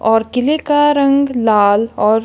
और किले का रंग लाल और--